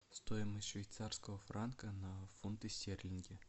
стоимость швейцарского франка на фунты стерлинги